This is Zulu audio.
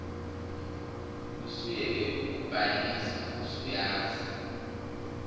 usuyeke ukubhayiza usuyazi